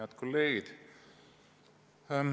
Head kolleegid!